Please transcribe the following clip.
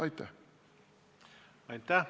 Aitäh!